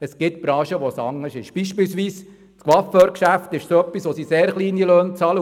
Es gibt Branchen, wo es anders ist, beispielsweise werden in Coiffeurgeschäften sehr kleine Löhne bezahlt.